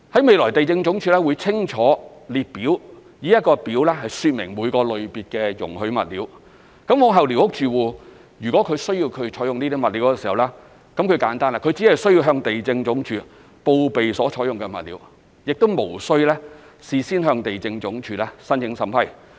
未來地政總署會以一個列表清楚說明每個類別的容許物料，往後寮屋住戶如果需要採用這些物料，只須簡單地向地政總署報備所採用的物料，無須事先向地政總署申請審批。